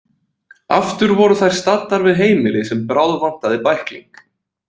Aftur voru þær staddar við heimili sem bráðvantaði bækling.